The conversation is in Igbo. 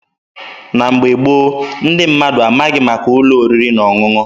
Na mgbe gboo, ndị mmadụ amaghị maka ụlọ oriri na ọṅụṅụ.